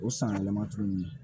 O sanyɛlɛma tuguni